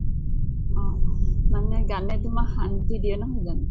অ অ মানে গানে তোমাক শান্তি দিয়ে নহয় জানো?